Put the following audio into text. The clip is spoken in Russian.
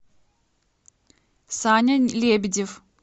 саня лебедев